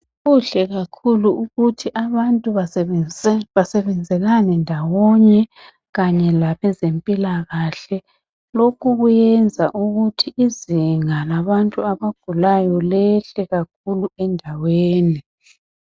Kuhle kakhulu ukuthi abantu basebenzelane ndawonye kanye labezempilakahle. Lokhu kuyenza ukuthi izinga labantu abagulayo lehle kakhulu endaweni.